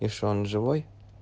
и что он живой